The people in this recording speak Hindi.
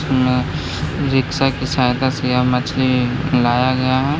रिक्शा की सहायता से यहां मछली लाया गया है।